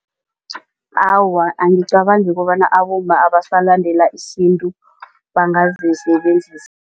Awa, angicabangi kobana abomma abasalandela isintu bangazisebenzisa.